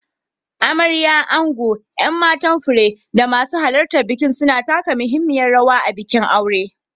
Amarya, ango, 'yan matan fure, da masu halartar biki suna taka muhimmiyar rawa a bikin aure.